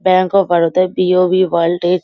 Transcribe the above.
bank of Baroda BOB world is --